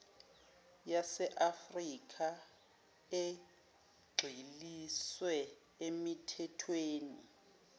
yaseafrikha egxiliswe emithethweni